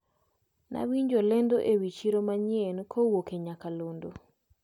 Nawinjo lendo ewi chiro manyien kowuok e nyakalondo.